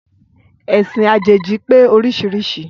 Ẹ̀sìn àjèjì pé oríṣiríṣi